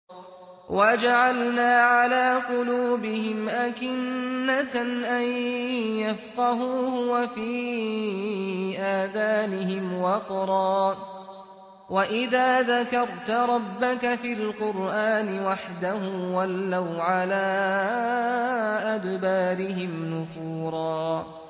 وَجَعَلْنَا عَلَىٰ قُلُوبِهِمْ أَكِنَّةً أَن يَفْقَهُوهُ وَفِي آذَانِهِمْ وَقْرًا ۚ وَإِذَا ذَكَرْتَ رَبَّكَ فِي الْقُرْآنِ وَحْدَهُ وَلَّوْا عَلَىٰ أَدْبَارِهِمْ نُفُورًا